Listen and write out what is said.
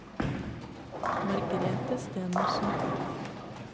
Margrethe Stenersen